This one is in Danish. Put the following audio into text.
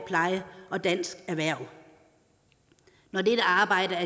pleje og dansk erhverv når dette arbejde er